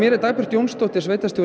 er Dagbjört Jónsdóttir sveitarstjóri